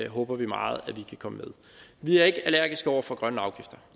håber vi meget at vi kan komme med vi er ikke allergiske over for grønne afgifter